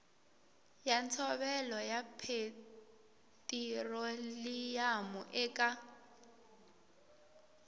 ya ntshovelo ya petiroliyamu eka